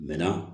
Mɛ na